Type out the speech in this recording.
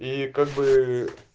и как бы